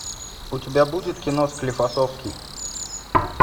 у тебя будет кино склифосовский